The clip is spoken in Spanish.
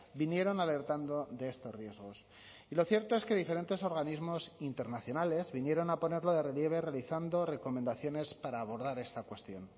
vinieron alertando de estos riesgos y lo cierto es que diferentes organismos internacionales vinieron a ponerlo de relieve realizando recomendaciones para abordar esta cuestión